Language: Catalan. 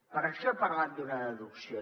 per això he parlat d’una deducció